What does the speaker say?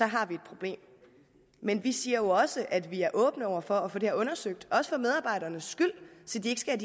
har vi et problem men vi siger jo også at vi er åbne over for at få det undersøgt også for medarbejdernes skyld så de ikke skal